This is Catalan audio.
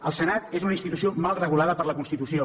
el senat és una institució mal regulada per la constitució